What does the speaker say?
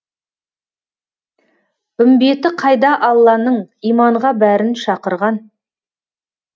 үмбеті қайда алланың иманға бәрін шақырған